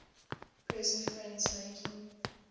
present friends making